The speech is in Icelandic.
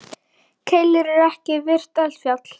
Keilir er ekki virkt eldfjall.